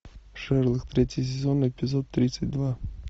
шерлок третий сезон эпизод тридцать два